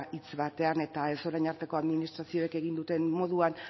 hitz batean eta ez orain arteko administrazioek egin duten moduan